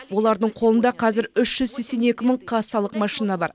олардың қолында қазір үш жүз сексен екі мың кассалық машина бар